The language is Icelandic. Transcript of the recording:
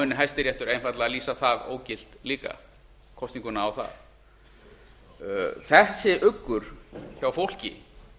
muni hæstiréttur einfaldlega lýsa það ógilt líka kosninguna á það þessi uggur hjá fólki